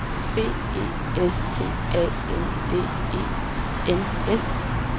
B E S T A N D E N S